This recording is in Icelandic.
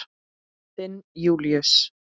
Þinn Júlíus.